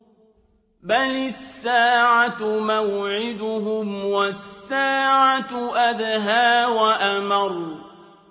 بَلِ السَّاعَةُ مَوْعِدُهُمْ وَالسَّاعَةُ أَدْهَىٰ وَأَمَرُّ